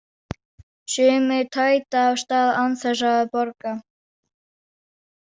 Sumir tæta af stað án þess að borga.